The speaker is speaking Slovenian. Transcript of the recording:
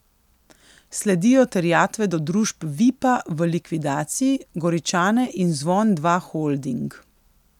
Sledijo terjatve do družb Vipa v likvidaciji, Goričane in Zvon Dva Holding.